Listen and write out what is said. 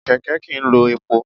Kèkè kì í lo epo